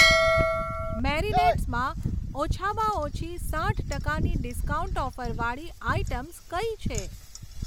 મેરિનેડ્સમાં ઓછામાં ઓછી સાઠ ટકાની ડિસ્કાઉન્ટ ઓફર વાળી આઇટમ્સ કઈ છે?